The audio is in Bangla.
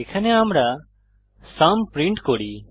এখানে আমরা সুম প্রিন্ট করি